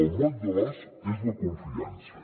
el moll de l’os és la confiança